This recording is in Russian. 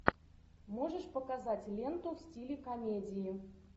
можешь показать ленту в стиле комедии